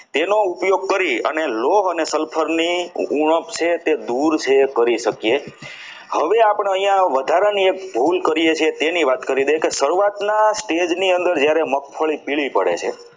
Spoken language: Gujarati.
નો ઉપયોગ કરી લોહ અને sulphur ની ઉણપ છે તે દૂર કરી શકીએ હવે આપણે અહીયા વધારાની એક ભુલ શરૂઆતમાં પહેલા stage ની અંદર જ્યારે મગફળી પીળી પડે છે.